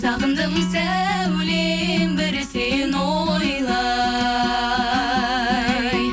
сағындым сәулем бір сені ойлай